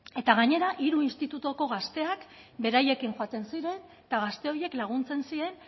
eta gainera hiru institutuko gazteak beraiekin joaten ziren eta gazte horiek laguntzen zien